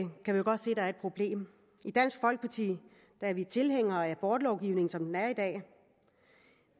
der er et problem i dansk folkeparti er vi tilhængere af abortlovgivningen som den er i dag